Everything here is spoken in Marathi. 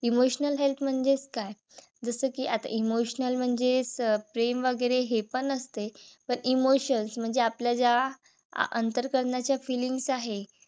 emotional health म्हणजेच काय? जस कि आता emotional म्हणजे प्रेम वगैरे हे पण असते. तर Emotions म्हणजे आपल्या ज्या अंतकरणाच्या feelings आहेत.